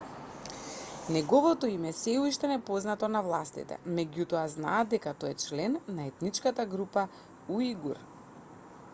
неговото име е сѐ уште непознато на властите меѓутоа знаат дека тој е член на етничката група уигур